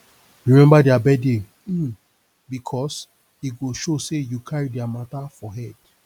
remember dia birthday um bikos e go show sey yu cari dia mata for head